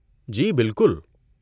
جی بالکل!